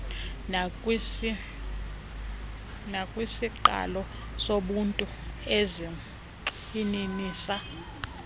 nakwisiqalo sobuntu ezigxininisa